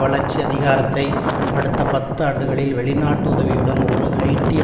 வளர்ச்சி அதிகாரத்தை அடுத்த பத்து ஆண்டுகளில் வெளிநாட்டு உதவியுடன் ஒரு ஹய்ட்டிய